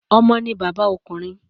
Omo ni baba okunrin